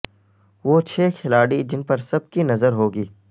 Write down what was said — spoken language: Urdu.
وہ چھ کھلاڑی جن پر سب کی نظر ہو گی